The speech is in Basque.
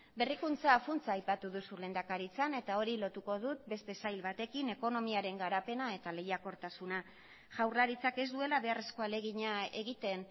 berrikuntza funtsa aipatu duzu lehendakaritzan eta hori lotuko dut beste sail batekin ekonomiaren garapena eta lehiakortasuna jaurlaritzak ez duela beharrezko ahalegina egiten